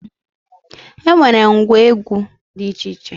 E nwere ngwa egwu dị iche iche